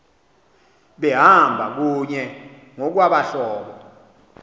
behamba kunye ngokwabahlobo